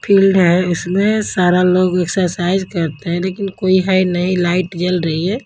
Field है इसमें सारा लोग एक्सरसाइज करते हैं लेकिन कोई है नहीं लाइट जल रही है।